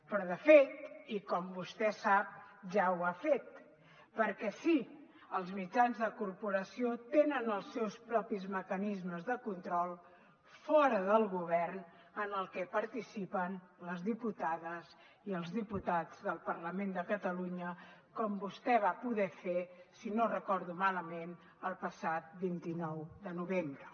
però de fet i com vostè sap ja ho ha fet perquè sí els mitjans de la corporació tenen els seus propis mecanismes de control fora del govern en el que participen les diputades i els diputats del parlament de catalunya com vostè va poder fer si no recordo malament el passat vint nou de novembre